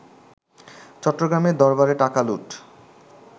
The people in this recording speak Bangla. চট্টগ্রামে দরবারে টাকা লুট